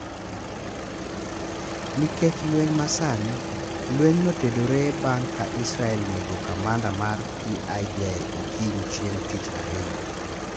Nikech lweny ma sani. Lweny notedore bang' ka Israel nego kamanda mar PIJ okinyi chieng' tich ariyo.